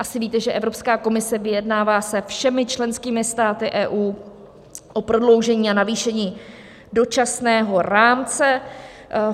Asi víte, že Evropská komise vyjednává se všemi členskými státy EU o prodloužení a navýšení dočasného rámce.